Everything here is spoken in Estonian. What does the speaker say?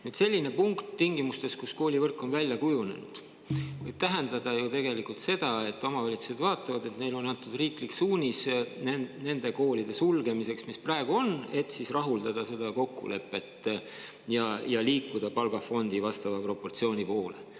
Nüüd, selline punkt tingimustes, kus koolivõrk on välja kujunenud, võib tähendada ju tegelikult seda, et omavalitsused vaatavad, et neile on antud riiklik suunis nende koolide sulgemiseks, mis praegu on, et siis seda kokkulepet ja liikuda palgafondi vastava proportsiooni poole.